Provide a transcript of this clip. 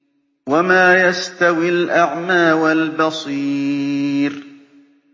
وَمَا يَسْتَوِي الْأَعْمَىٰ وَالْبَصِيرُ